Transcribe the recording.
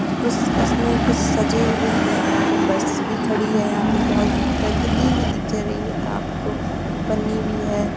कुछ इसमें कुछ सजे हुए हैं और यहां पे बस भी खड़ी है यहां पे बहुत गंदगी भी दिख रही है आपको पन्नी भी है।